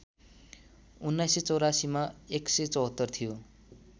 १९८४ मा १७४ थियो